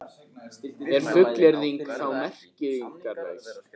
Er fullyrðingin þá merkingarlaus?